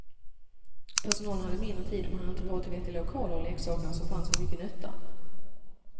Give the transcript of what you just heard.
Personalen hade mindre tid och man hade inte råd till vettiga lokaler och leksakerna som fanns var mycket nötta.